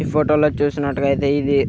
ఈ ఫోటో లో చూసినట్టుగయితే ఇది --